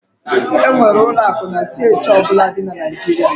E nwere ụlọ akụ na steeti ọ bụla di na Naịjirịa.